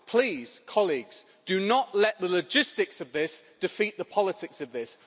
Please do not let the logistics of this defeat the politics of this.